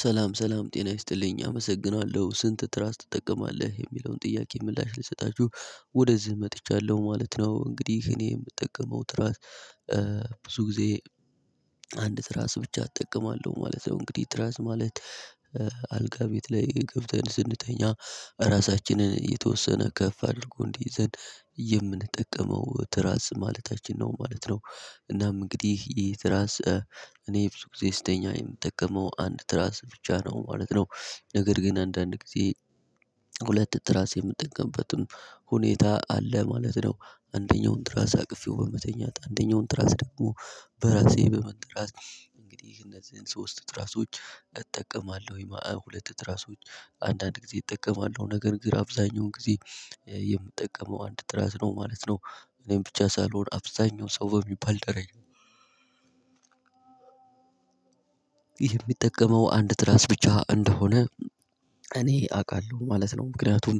ሰላም፣ ሰላም፣ ጤና ይስጥልኝ። አመሰግናለሁ። ስንት ትራስ ትጠቀማለህ? የሚለውን ጥያቄ ምላሽ ልሰጣችሁ ወደዚህ መጥቻለሁ ማለት ነው። እንግዲህ እኔ የምጠቀመው ትራስ ብዙ ጊዜ አንድ ትራስ ብቻ እጠቀማለው ማለት ነው። እንግዲህ ትራስ ማለት ኧ አልጋ ቤት ላይ ገብተን ስንተኛ ራሳችንን የተወሰነ ከፍ አድርጎ እንዲይዘን የምንጠቀመው ትራስ ማለታችን ነው ማለት ነው። እናም እንግዲህ ይህ ትራስ ኧ እኔ ብዙ ጊዜ ስተኛ የምጠቀመው አንድ ትራስ ብቻ ነው ማለት ነው። ነገር ግን አንዳንድ ጊዜ ሁለት ትራስ የምጠቀምበትም ሁኔታ አለ ማለት ነው። አንደኛውን ትራስ አቅፌው በመተኛት፣ አንደኛውን ትራስ ደግሞ በራሴ በመንተራስ እንግዲህ እነዚህን ሶስት ትራሶች እጠቀማለሁኝ ማአ ሁለት ትራሶች አንዳንድ ጊዜ እጠቀማለሁ። ነገር ግን አብዛኛውን ጊዜ ኧ የምጠቀመው አንድ ትራስ ነው ማለት ነው። እኔም ብቻ ሳልሆን አብዛኛው ሰው በሚባል ደረጃ ሚጠቀመው አንድ ትራስ ብቻ እንደሆነ እኔ አቃለሁ ማለት ነው። ምክንያቱም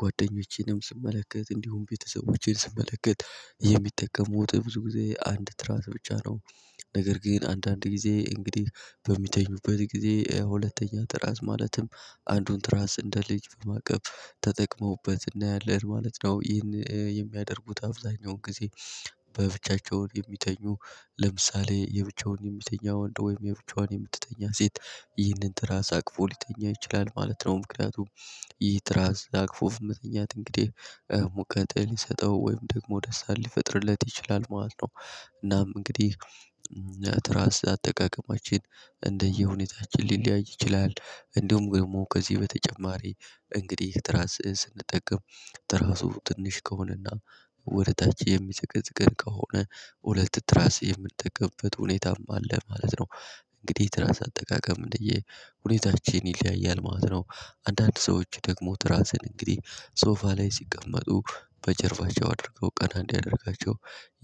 ጓደኞቼንም ስመለከት እንዲሁም ቤተሰቦቼን ስመለከት የሚጠቀሙት ብዙ ጊዜ አንድ ትራስ ብቻ ነው። ነገር ግን አንዳንድ ጊዜ እንግዲህ በሚተኙበት ጊዜ ሁለተኛ ትራስ ማለትም አንዱን ትራስ እንደ ልጅ በማቀፍ ተጠቅመውበት እናያለን ማለት ነው። ይን እ የሚያደርጉት አብዛኛውን ጊዜ በብቻቸውን የሚተኙ ለምሳሌ የብቻውን የሚተኛ ወንድ ወይም የብቻዋን የምትተኛ ሴት ይህንን ትራስ አቅፎ ሊተኛ ይችላል ማለት ነው። ምክንያቱም ይህ ትራስ አቅፎ መተኛት እንግዴህ እ ሙቀት ሊሰጠው ወይም ደግሞ ደስታን ሊፈጥርለት ይችላል ማለት ነው። እናም እንግዲህ ትራስ አጠቃቀማችን እንደየ ሁኔታችን ሊለያይ ይችላል። እንደውም ገድሞ ከዚህ በተጨማሪ እንግዲህ ትራስ ስንጠቀም ትራሱ ትንሽ ከሆነና ወደ ታች የሚዘቀዝቀን ከሆነ ሁለት ትራስ የምንጠቀምበት ሁኔታም አለ ማለት ነው። እንግዲህ ትራስ አጠቃቀም እንደየ ሁኔታችን ይለያያል ማለት ነው። አንዳንድ ሰዎች ደግሞ ትራስን እንግዲህ ሶፋ ላይ ሲቀመጡ በጀርባቸው አድርገው ቀና እንዲያደርጋቸው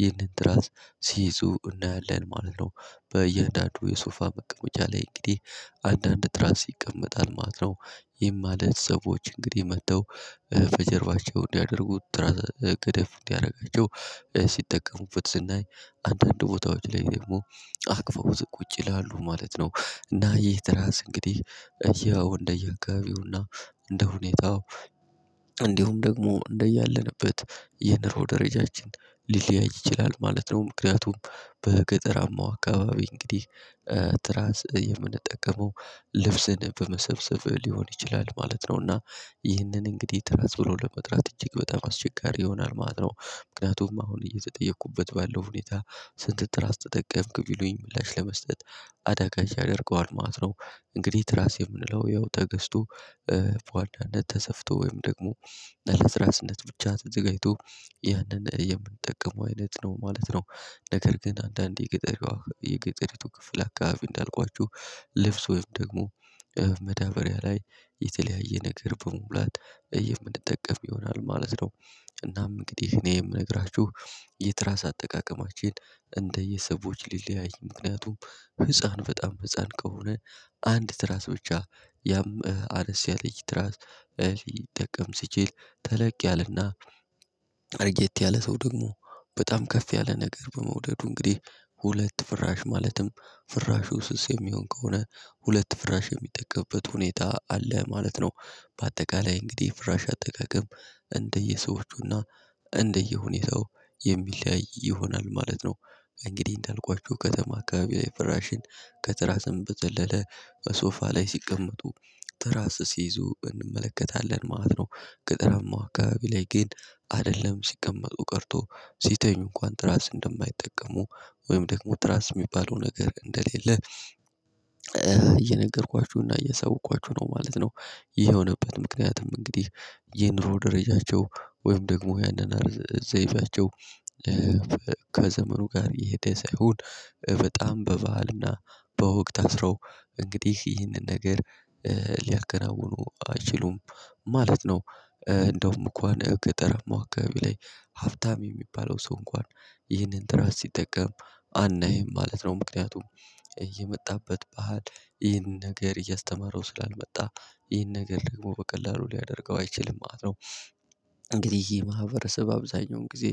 ይህንን ትራስ ሲይዙ እናያለን ማለት ነው። በያንዳንዱ የሶፋ መቀመጫ ላይ እንግዲህ አንዳንድ ትራስ ይቀመጣል ማለት ነው። ይም ማለት ሰዎች እንግዲህ መተው እ በጀርባቸው እንዲያደርጉት ትራስ ገደፍ እንዲረጋቸው ሲጠቀሙበት ስናይ፣ አንዳንድ ቦታዎች ላይ ደግሞ አቅፈውት ቁጭ ይላሉ ማለት ነው። እና ይህ ትራስ እንግዲህ ያው እንደየ አካባቢውና እንደ ሁኔታው እንዲሁም ደግሞ እንደያለንበት የንሮ ደረጃችን ሊለያይ ይችላል ማለት ነው። ምክንያቱም በገጠራማው አካባቢ እንግዲህ ኧ ትራስ የምንጠቀመው ልብስን በመሰብሰብ ሊሆን ይችላል ማለት ነው። እና ይህንን እንግዲህ ትራስ ብሎ ለመጥራት እጅግ በጣም አስቸጋሪ ይሆናል ማለት ነው። ምክንያቱም አሁን እየተጠየቅኩበት ባለው ሁኔታ ስንት ትራስ ተጠቀምክ? ቢሉኝ ምላሽ ለመስጠት አዳጋች ያደርገዋል ማለት ነው። እንግዲህ ትራስ የምንለው ያው ተገዝቶ በዋናነት ተሰፍቶ ወይም ደግሞ ለትራስነት ብቻ ተዘጋጅቶ ያንን የምንጠቀመው አይነት ነው ማለት ነው። ነገር ግን አንዳንዴ የገጠሪዋ የገጠሪቱ ክፍል አካባቢ እንዳልኳችሁ ልብስ ወይም ደግሞ ኧ መዳበሪያ ላይ የተለያየ ነገር በመሙላት እ የምንጠቀም ይሆናል ማለት ነው። እናም እንግዲህ እኔ የምነግራችሁ የትራስ አጠቃቀማችን እንደየ ሰዎች ሊለያይ። ምክንያቱም ህፃን በጣም ህፃን ከሆነ አንድ ትራስ ብቻ ያም አነስ ያለች ትራስ እ ሊጠቀም ሲችል ተለቅ ያለና አርጌት ያለ ሰው ደግሞ በጣም ከፍ ያለ ነገር በመውደዱ እንግዲህ ሁለት ፍራሽ ማለትም ፍራሹ ስስ የሚሆን ከሆነ ሁለት ፍራሽ የሚጠቀምበት ሁኔታ አለ ማለት ነው። ባጠቃላይ እንግዲህ ፍራሽ አጠቃቀም እንደየሰዎቹና እንደየሁኔታው የሚለያይ ይሆናል ማለት ነው። እንግዲህ እንዳልኳችሁ ከተማ አካባቢ ላይ ፍራሽን ከትራስም በዘለለ ሶፋ ላይ ሲቀመጡ ትራስ ሲይዙ እንመለከታለን ማለት ነው። ገጠራማው አካባቢ ላይ ግን አደለም ሲቀመጡ ቀርቶ ሲተኙ እንኳን ትራስ እንደማይጠቀሙ ወይም ደግሞ ትራስ ሚባለው ነገር እንደሌለ እየነገርኳችሁና እያሳወኳች ነው ማለት ነው። ይህ የሆነበት ምክንያት እንግዲህ የኑሮ ደረጃቸው ወይም ደግሞ ያኗኗር ዘይቤያቸው ለበ ከዘመኑ ጋር የሄደ ሳይሆን በጣም በባህልና በወግ ታስረው እንግዲህ ይህንን ነገር ኧ ሊያከናውኑ አይችሉም ማለት ነው። ኧ እንደውም እንኳን ገጠራማው አካባቢ ላይ ሀብታም የሚባለው ሰው እንኳን ይህንን ትራስ ሲጠቀም አናይም ማለት ነው። ምክንያቱም የመጣበት ባህል ይህንን ነገር እያስተማረው ስላልመጣ ይህን ነገር ደሞ በቀላሉ ሊያደርገው አይችልም ማለት ነው። እንግዲህ ይህ ማህበረሰብ አብዛኛውን ጊዜ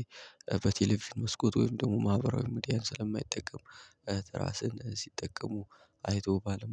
በቴሌቪዥን መስኮት ወይም ደሞ ማህበራዊ ሚዲያን ስለማይጠቀም ኧ ትራስን ሲጠቀሙ አይቶ ባለመሆ